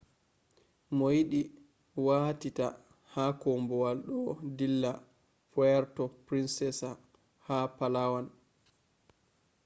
mooyidii waatiitaa haa koobuwal do dilla puerto princesa ha palawan